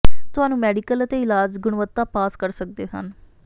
ਤੁਹਾਨੂੰ ਮੈਡੀਕਲ ਅਤੇ ਇਲਾਜ ਗੁਣਵੱਤਾ ਪਾਸ ਕਰ ਸਕਦੇ ਹਨ